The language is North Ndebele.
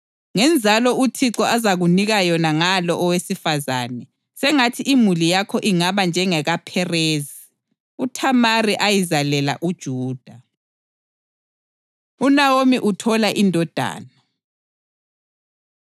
Ngenzalo uThixo azakunika yona ngalo owesifazane, sengathi imuli yakho ingaba njengekaPherezi, uThamari ayizalela uJuda.” UNaomi Uthola Indodana